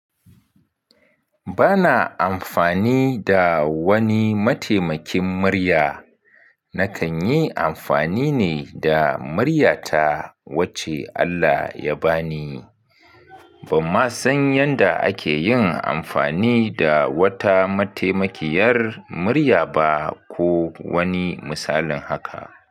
Bana amfani da wani mataimakin murya. Nakan yi amfani ne da muryata wacce Allah ya bani. Ban ma san yanda ake yin amfani da wata mataimakiyar murya ba ko wani misalin haka.